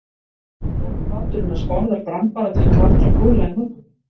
Nú, báturinn hans Bárðar brann bara til kaldra kola í morgun.